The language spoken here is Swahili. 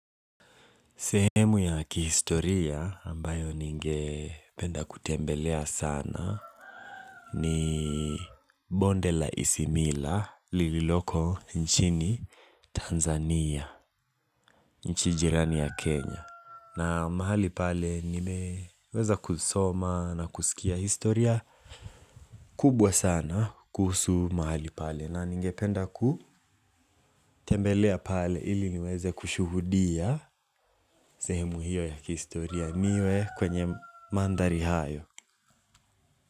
Sehemu ya kihistoria ambayo ningependa kutembelea sana ni bonde la isimila lililoko nchini Tanzania, nchi jirani ya Kenya. Na mahali pale nimeweza kusoma na kusikia historia kubwa sana kuhusu mahali pale. Na ningependa kutembelea pale ili niweze kushuhudia sehemu hiyo ya kihistoria niwe kwenye manthari hayo.